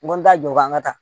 N ko n t'a jɔ k'an ka taa